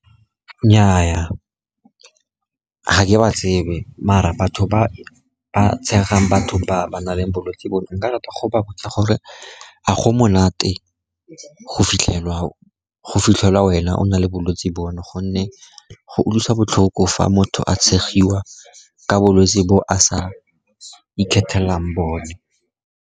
Nnyaa, ga ke ba tsebe mara batho ba ba tshegang batho ba ba nang le bolwetse bo, nka rata go botsa gore a go monate go fitlhelwa wena o na le bolwetsi bono, gonne go utlwisa botlhoko fa motho a tshegiwa ke bolwetsi bo a sa ikgethela bone.